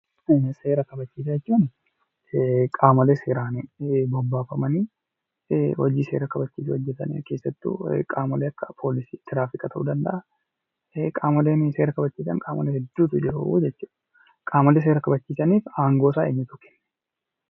Seera kabachiisaa jechuun qaamolee seeraan bobbaafamanii hojii seera kabachiisu hojjetan keessattuu qaamolee akka poolisii, tiraafika ta'uu danda'a. Qaamoleen seera kabachiisan qaamolee hedduutu jiru jechuudha. Qaamolee seera kabachiisaniif aangoosaa eenyutu kenne?